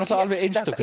alveg einstök